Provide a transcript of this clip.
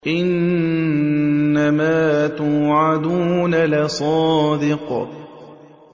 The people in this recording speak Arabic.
إِنَّمَا تُوعَدُونَ لَصَادِقٌ